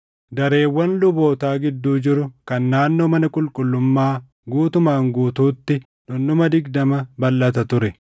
dareewwan lubootaa gidduu jiru kan naannoo mana qulqullummaa guutumaan guutuutti dhundhuma digdama balʼata ture.